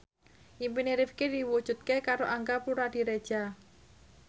impine Rifqi diwujudke karo Angga Puradiredja